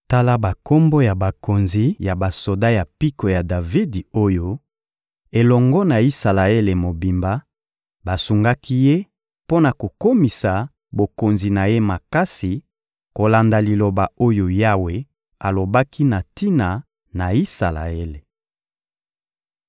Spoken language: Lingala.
Tala bakombo ya bakonzi ya basoda ya mpiko ya Davidi oyo, elongo na Isalaele mobimba, basungaki ye mpo na kokomisa bokonzi na ye makasi, kolanda liloba oyo Yawe alobaki na tina na Isalaele.